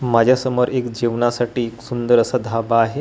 माझ्यासमोर एक जेवणासाठी एक सुंदर असा ढाबा आहे तो ढाबा--